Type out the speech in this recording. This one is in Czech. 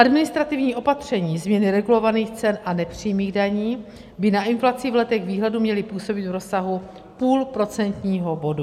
Administrativní opatření změny regulovaných cen a nepřímých daní by na inflaci v letech výhledu měly působit v rozsahu půl procentního bodu.